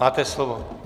Máte slovo.